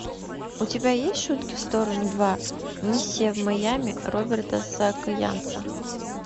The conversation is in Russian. у тебя есть шутки в сторону два миссия в майами роберта саакянца